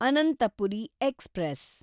Anantapuri express